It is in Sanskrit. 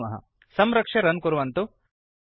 पश्यामः संरक्ष्य रन् कुर्वन्तु